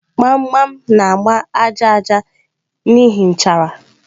Gbam gbam na-agba aja aja n'ihi nchara.